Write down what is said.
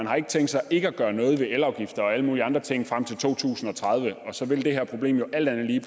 har tænkt sig ikke at gøre noget ved elafgifter og alle mulige andre ting frem til to tusind og tredive og så vil det her problem jo alt andet lige